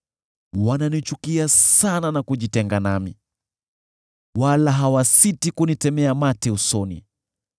Wananichukia sana na kujitenga nami, wala hawasiti kunitemea mate usoni.